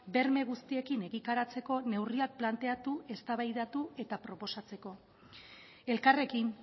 berme guztiekin egikaritzeko neurriak planteatu eztabaidatu eta proposatzeko elkarrekin